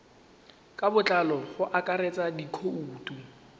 ka botlalo go akaretsa dikhoutu